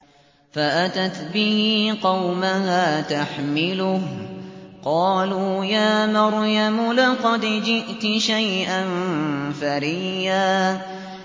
فَأَتَتْ بِهِ قَوْمَهَا تَحْمِلُهُ ۖ قَالُوا يَا مَرْيَمُ لَقَدْ جِئْتِ شَيْئًا فَرِيًّا